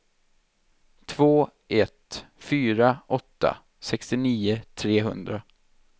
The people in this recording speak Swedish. två ett fyra åtta sextionio trehundra